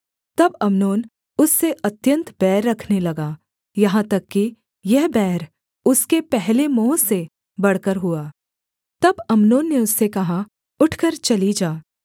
तब अम्नोन उससे अत्यन्त बैर रखने लगा यहाँ तक कि यह बैर उसके पहले मोह से बढ़कर हुआ तब अम्नोन ने उससे कहा उठकर चली जा